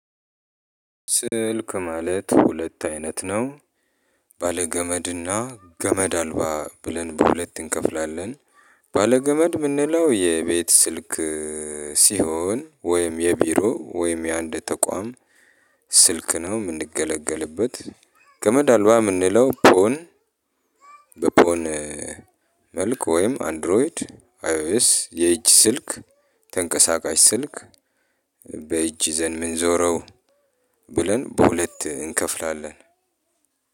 ስልክ ማለት ሁለት አይነት ነው ባለገመድና ገመድ አልባ ብለን በሁለት እንከፍላለን ባለገመድ የምንለው የቤት ስልክ ሲሆን ወይም የቢሮ ወይም የአንድ ተቋም ስልክ ነው የምንገለገልበት። ከመድ አልባ የምንለው ፖን በፖን መልክ ወይም አንድሮይድ፥ አይ ኦ ኤስ፥ የእጅ ስልክ፤ ተንቀሳቃሽ ስልክ፥ በእጅ ይዘን ምንዞረው ብለን በሁለት እንከፍላለን።